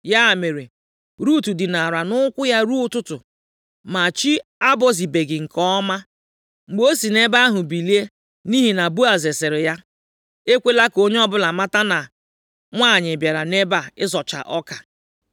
Ya mere, Rut dinara nʼụkwụ ya ruo ụtụtụ. Ma chi abọzibeghị nke ọma mgbe o si nʼebe ahụ bilie nʼihi na Boaz sịrị ya, “Ekwela ka onye ọbụla mata na nwanyị bịara nʼebe ịzọcha ọka.”